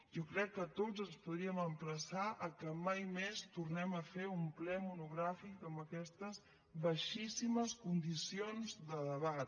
jo crec que tots ens podríem emplaçar que mai més tornem a fer un ple monogràfic amb aquestes baixíssimes condicions de debat